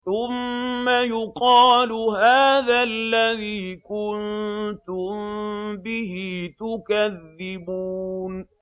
ثُمَّ يُقَالُ هَٰذَا الَّذِي كُنتُم بِهِ تُكَذِّبُونَ